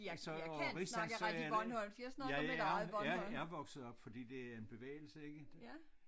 Så og rigsdansk er det jeg er jeg er vokset op fordi det er en bevægelse ikke